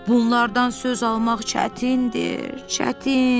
Bunlardan söz almaq çətindir, çətin.